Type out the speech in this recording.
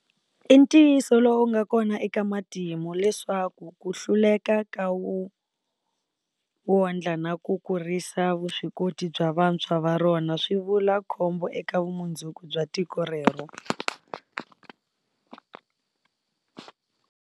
I ntiyiso lowu nga kona eka matimu leswaku ku hluleka ka wu wondla na ku kurisa vuswikoti bya vantshwa va rona swi vula khombo eka vumundzuku bya tiko rero.